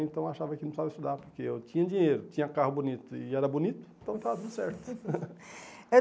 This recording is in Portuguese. Então eu achava que não precisava estudar, porque eu tinha dinheiro, tinha carro bonito e era bonito, então estava tudo certo.